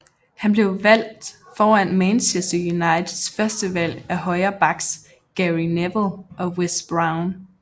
Han blev valgt foran Manchester Uniteds førstevalg af højre backs Gary Neville og Wes Brown